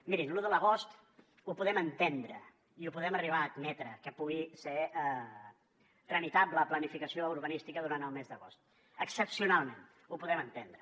mirin lo de l’agost ho podem entendre i ho podem arribar a admetre que pugui ser tramitable la planificació urbanística durant el mes d’agost excepcionalment ho podem entendre